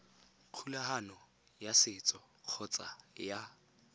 kgolagano ya setso kgotsa ya